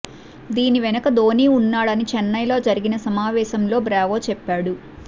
దీని వెనుక ధోనీ ఉన్నాడని చెన్నైలో జరిగిన సమావేశంలో బ్రావో చెప్పాడు